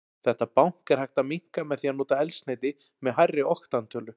Þetta bank er hægt að minnka með því að nota eldsneyti með hærri oktantölu.